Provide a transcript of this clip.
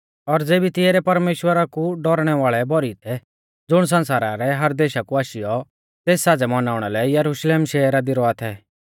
और तेबी तिऐ रै परमेश्‍वरा कु डौरणै वाल़ै भौरी थै ज़ुण सण्सारा रै हर देशा कु आशीयौ तेस साज़ै मनाउणा लै यरुशलेम शहरा दी रौआ थै